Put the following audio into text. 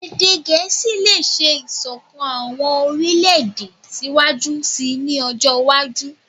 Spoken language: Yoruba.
Ede Gẹẹsi le ṣe isokan awọn orilẹ-ede siwaju sii ni ọjọ iwaju